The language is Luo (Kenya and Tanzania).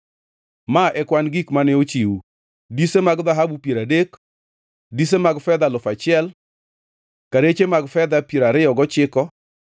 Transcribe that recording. Ma e kwan gik mane ochiw: Dise mag dhahabu piero adek, dise mag fedha alufu achiel, kareche mag fedha piero ariyo gochiko,